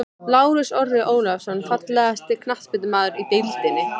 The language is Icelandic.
Lárus Orri Ólafsson Fallegasti knattspyrnumaðurinn í deildinni?